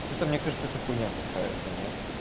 что-то мне кажется это хуйня какая-то нет